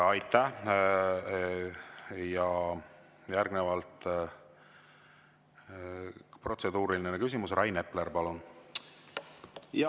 Ja järgnevalt protseduuriline küsimus, Rainer Epler, palun!